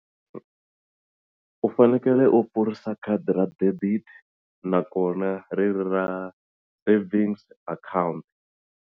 U fanekele u pfurisa khadi ra debit nakona ri ri ra savings account.